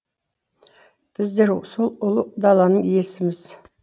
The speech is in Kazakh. біздер сол ұлы даланың иесіміз